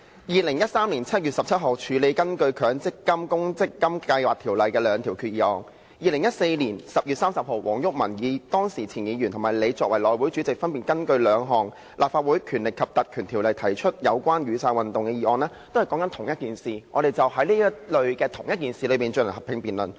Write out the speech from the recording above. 2013年7月17日處理根據《強制性公積金計劃條例》提出的兩項決議案 ；2014 年10月30日黃毓民前議員及你作為內務委員會主席，分別根據《立法會條例》提出兩項有關雨傘運動的議案，均針對相同的事宜，我們就此進行合併辯論。